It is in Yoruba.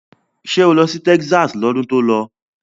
Ṣé o lọ sí Texas lọ́dún tó lọ?